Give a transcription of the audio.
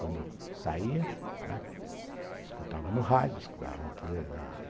Quando saía, né, escutava no rádio, escutava na tele